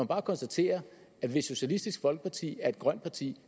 bare konstatere at hvis socialistisk folkeparti er et grønt parti